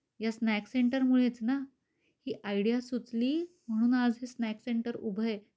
या snacks centre मुळेच ना, ही आयडिया सुचली म्हणून आज ही स्नॅक्स सेंटर उभये.